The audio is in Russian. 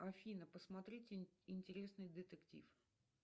афина посмотрите интересный детектив